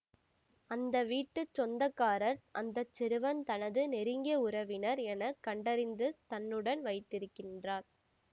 அந்த வீட்டு சொந்த காரர் அந்த சிறுவன் தனது நெருங்கிய உறவினர் என கண்டறிந்து தன்னுடன் வைத்திருக்கின்றார்